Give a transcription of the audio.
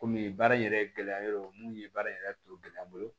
Komi baara in yɛrɛ gɛlɛya yɔrɔ mun ye baara in yɛrɛ to gɛlɛya n bolo